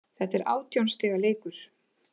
Þetta er átján stiga leikur